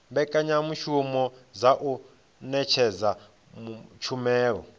mbekanyamushumo dza u ṅetshedza tshumelo